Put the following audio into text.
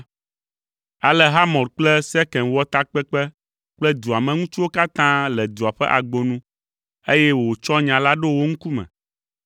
Ale Hamor kple Sekem wɔ takpekpe kple dua me ŋutsuwo katã le dua ƒe agbo nu, eye wòtsɔ nya la ɖo wo ŋkume.